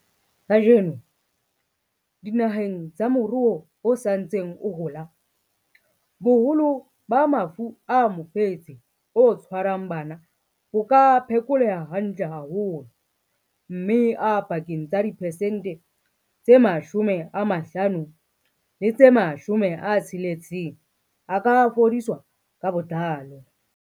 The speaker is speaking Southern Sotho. Kajeno, dinaheng tsa moruo o sa ntseng o hola, boholo ba mafu a mofetshe o tshwarang bana bo ka phekoleha hantle haholo, mme a pakeng tsa diphesente tse 50 le tse 60 a ka fodiswa ka botlalo.